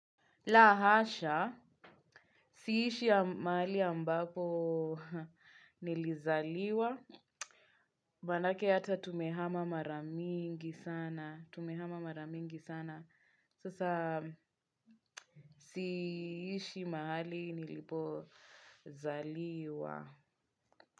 Lahasha, siishi mahali ambapo nilizaliwa, manake hata tumehama maramingi sana, tumehama maramingi sana, sasa siishi mahali nilipo zaliwa.